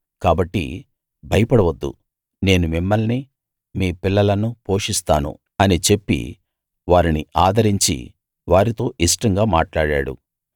కాబట్టి భయపడవద్దు నేను మిమ్మల్ని మీ పిల్లలను పోషిస్తాను అని చెప్పి వారిని ఆదరించి వారితో ఇష్టంగా మాట్లాడాడు